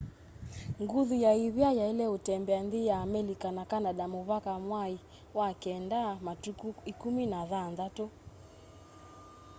nguthu ya ivia yaile utembea nthi ya amelika na canada muvaka mwai wa keenda matuku 16